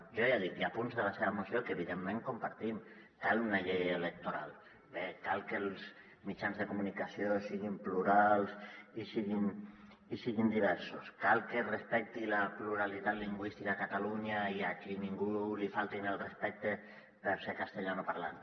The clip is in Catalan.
jo ja dic hi ha punts de la seva moció que evident·ment compartim cal una llei electoral bé cal que els mitjans de comunicació si·guin plurals i siguin diversos cal que es respecti la pluralitat lingüística a catalunya i que a ningú li faltin al respecte per ser castellanoparlant